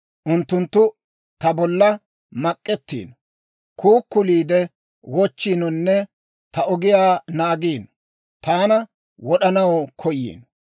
Unttunttu ta bolla mak'ettiino; kuukuliide wochchiinonne ta ogiyaa naagiino; taana wod'anaw koyiino.